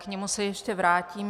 K němu se ještě vrátím.